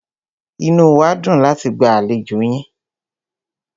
Inú wá dùn láti gba àlejò yín.